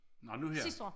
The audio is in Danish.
Nå nu her